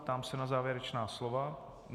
Ptám se na závěrečná slova.